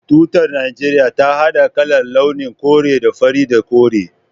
Tutar Najeriya ta hada kalar/launin kore da fari da kore